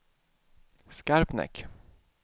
Skarpnäck